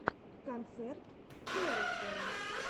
концерт теросера